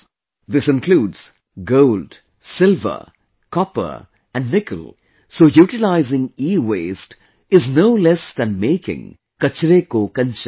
This includes Gold, Silver, Copper and Nickel, so utilizing EWaste is no less than making 'Kachre Ko Kanchan'